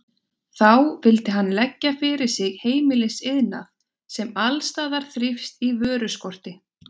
Þá vildi hann leggja fyrir sig heimilisiðnað, sem alls staðar þrífst í vöruskorti.